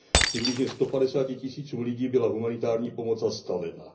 Přibližně sto padesáti tisícům lidí byla humanitární pomoc zastavena.